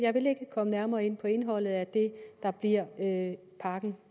komme nærmere ind på indholdet af det der bliver pakken